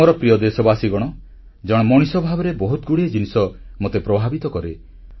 ମୋର ପ୍ରିୟ ଦେଶବାସୀଗଣ ଜଣେ ମଣିଷ ଭାବରେ ବହୁତଗୁଡ଼ିଏ ଜିନିଷ ମୋତେ ପ୍ରଭାବିତ କରେ